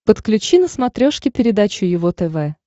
подключи на смотрешке передачу его тв